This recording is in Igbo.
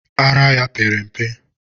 Ara ya pere mpe.